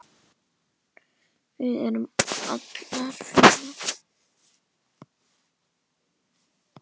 Við erum allar fínar